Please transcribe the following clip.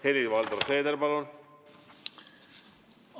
Helir-Valdor Seeder, palun!